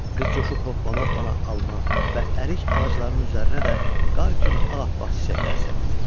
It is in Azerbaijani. Qız coşub hopbana-hopbana alma və ərik ağaclarının üzərinə də qar kimi ağappaq çiçəklər səpdi.